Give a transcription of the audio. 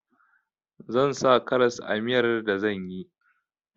Zan sa karas a miyar da zan yi